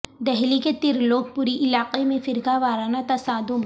دہلی کے ترلوک پوری علاقہ میں فرقہ وارانہ تصادم